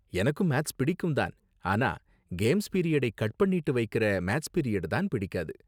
எனக்கு மேத்ஸ் பிடிக்கும் தான் ஆனா கேம்ஸ் பீரியடை கட் பண்ணிட்டு வைக்கற மேத்ஸ் பீரியட் தான் பிடிக்காது.